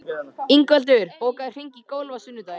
Ingveldur, bókaðu hring í golf á sunnudaginn.